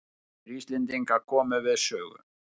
Tveir Íslendingar komu við sögu.